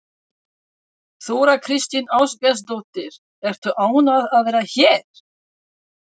Þóra Kristín Ásgeirsdóttir: Ertu ánægð að vera hér?